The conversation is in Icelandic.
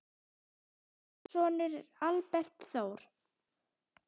Þeirra sonur er Albert Þór.